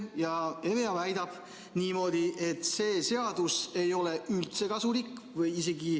EVEA väidab niimoodi, et see seadus ei ole üldse kasulik.